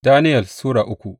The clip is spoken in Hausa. Daniyel Sura uku